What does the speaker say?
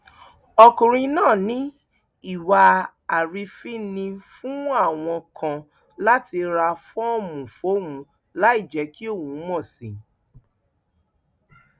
ọkùnrin náà ní ìwà àrífín ni fún àwọn kan láti ra fọọmù fóun láì jẹ kí òun mọ sí i